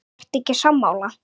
Ertu ekki sammála?